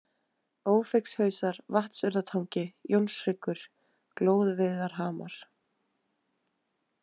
Ófeigshausar, Vatnsurðartangi, Jónshryggur, Glóruveiðarhamar